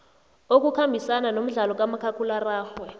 okukhambisana nomdlalo kamakhakhulararhwe